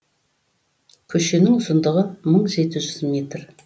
көшенің ұзындығы мың жеті жүз метр